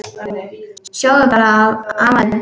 Sjáðu bara afa þinn.